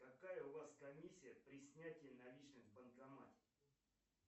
какая у вас комиссия при снятии наличных в банкомате